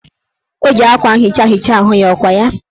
O ji akwa nhicha hichaa ahụ ya, ọkwa ya?